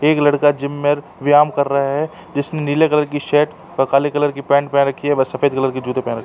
एक लड़का जिम में व्यायाम कर रहा है। जिसने नीले कलर कि शर्ट और काले कलर की पेंट पेहेन रखी है व सफ़ेद कलर के जूते पेहेन रखे हैं।